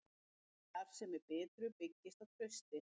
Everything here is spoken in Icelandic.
Starfsemi Bitru byggist á trausti